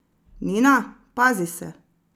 Nina, pazi se!